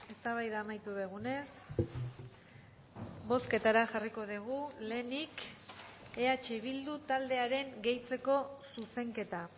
eztabaida amaitu dugunez bozketara jarriko dugu lehenik eh bildu taldearen gehitzeko zuzenketa